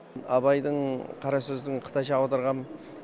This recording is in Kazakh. абайдың қара сөзін қытайша аударғам